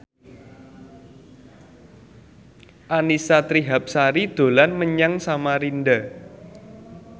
Annisa Trihapsari dolan menyang Samarinda